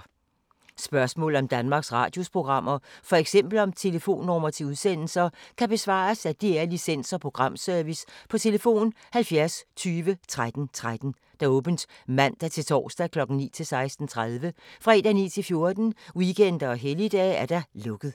Spørgsmål om Danmarks Radios programmer, f.eks. om telefonnumre til udsendelser, kan besvares af DR Licens- og Programservice: tlf. 70 20 13 13, åbent mandag-torsdag 9.00-16.30, fredag 9.00-14.00, weekender og helligdage: lukket.